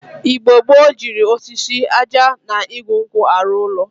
Igbo gboo jiri osisi, aja na igu nkwu aru ulo.